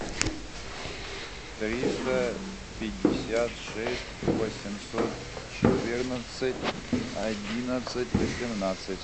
триста пятьдесят шесть восемьсот четырнадцать одиннадцать восемнадцать